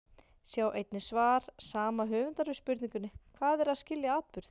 Sjá einnig svar sama höfundar við spurningunni Hvað er að skilja atburð?